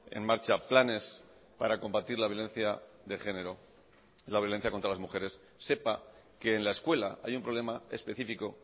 en marcha planes para combatir la violencia de género la violencia contra las mujeres sepa que en la escuela hay un problema específico